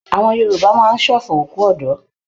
Àwọn Yorùbá máa ń ṣọ̀fọ̀ òkú ọ̀dọ́.